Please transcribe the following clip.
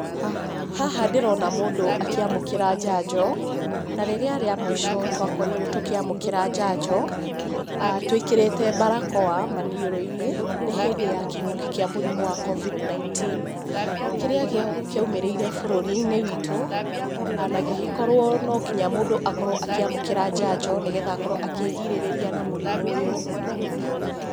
Haha ndĩrona mũndũ akĩamũkĩra njanjo. Na rĩrĩa rĩa mũico twakorirwo tũkĩamũkĩra njanjo twĩkĩrĩte barakoa maniũrũ-inĩ nĩ hĩndĩ ya kĩng'ũki kĩa mũrimũ wa Covid 19. Kĩrĩa kĩaumĩrĩire bũrũri-inĩ witũ na gĩgĩkorwo no nginya mũndũ akorwo akĩamũkĩra njanjo, nĩgetha akorwo akĩĩrigĩrĩria na mũrimũ ũyũ.